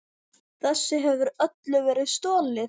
Þessu hefur öllu verið stolið!